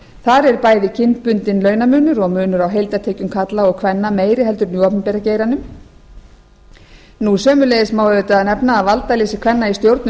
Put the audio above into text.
þar er bæði kynbundinn launamunur og munur á heildartekjum karla og kvenna meiri heldur en í opinbera geiranum sömuleiðis má auðvitað nefna að valdaleysi kvenna í stjórnum